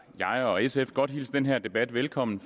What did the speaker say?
jeg og sf godt hilse den her debat velkommen